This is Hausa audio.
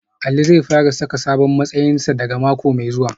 Ali zai fara saka sabon matsayinsa daga mako mai zuwa